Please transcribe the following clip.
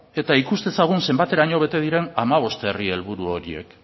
eta ikus dezagun zenbateraino bete diren hamabost herri helburu horiek